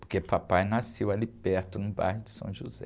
Porque papai nasceu ali perto, no bairro de